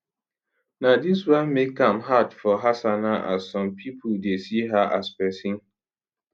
na dis wan make am a hard for hassana as some pipo dey see her as pesin